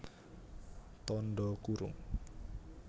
Tandha kurung